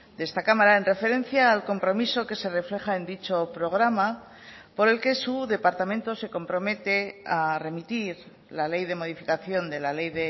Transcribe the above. de esta cámara en referencia al compromiso que se refleja en dicho programa por el que su departamento se compromete a remitir la ley de modificación de la ley